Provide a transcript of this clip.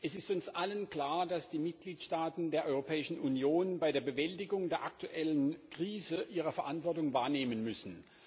Frau Präsidentin! Es ist uns allen klar, dass die Mitgliedstaaten der Europäischen Union bei der Bewältigung der aktuellen Krise ihre Verantwortung wahrnehmen müssen.